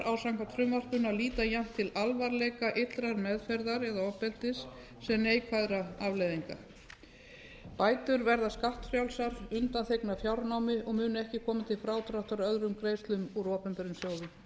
á samkvæmt frumvarpinu að líta jafnt til alvarleika illrar meðferðar eða ofbeldis sem neikvæðra afleiðinga bætur verða skattfrjálsar undanþegnar fjárnámi og munu ekki koma til frádráttar öðrum greiðslum úr opinberum sjóðum